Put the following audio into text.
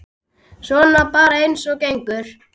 Svona bara eins og gengur.